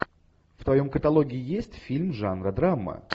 в твоем каталоге есть фильм жанра драма